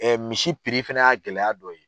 misi fɛnɛ y'a gɛlɛya dɔ ye.